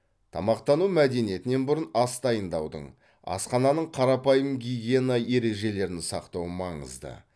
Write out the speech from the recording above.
тамақтану мәдениетінен бұрын ас дайындаудың асхананың қарапайым гигиена ережелерін сақтау маңызды